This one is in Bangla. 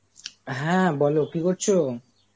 হ্যাঁ বলো কী করছো?